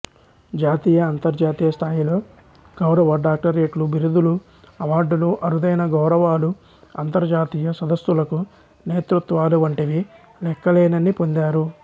జాతీయ అంతర్జాతీయ స్థాయిలో గౌరవ డాక్టరేట్లు బిరుదులు అవార్డులు అరుదైన గౌరవాలు అంతర్జాతీయ సదస్సులకు నేతృత్వాలు వంటివి లెక్కలేనన్ని పొందారు